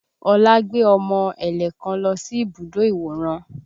Olá gbé ọmọ ẹ̀lẹ̀ kan lọ sí ibùdó ìwòran